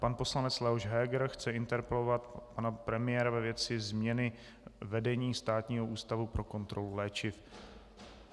Pan poslanec Leoš Heger chce interpelovat pana premiéra ve věci změny vedení Státního ústavu pro kontrolu léčiv.